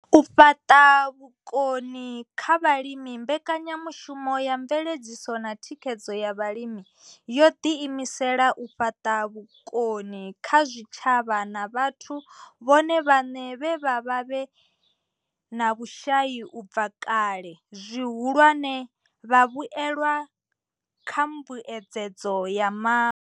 U fhaṱa vhukoni kha vhalimi mbekanyamushumo ya mveledziso na thikhedzo ya vhalimi yo ḓiimisela u fhaṱa vhukoni kha zwitshavha na vhathu vhone vhaṋe vhe vha vha vhe na vhushai u bva kale, zwihulwane, vhavhuelwa kha mbuedzedzo ya mavu.